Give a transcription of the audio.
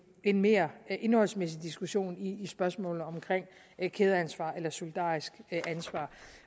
en mere indholdsmæssig diskussion i spørgsmålet om kædeansvar eller solidarisk ansvar